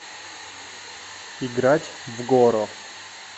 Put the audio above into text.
играть в горо